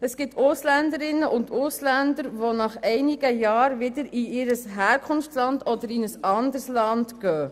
Es gibt Ausländerinnen und Ausländer, die nach einigen Jahren wieder in ihr Herkunftsland oder in ein anderes Land ziehen.